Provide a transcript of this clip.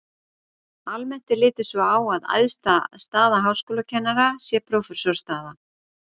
Almennt er litið svo á að æðsta staða háskólakennara sé prófessorsstaða.